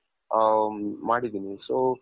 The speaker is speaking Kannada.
ಅ ಮಾಡಿದ್ದೀನಿ so